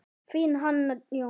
Þín, Hanna Jóna.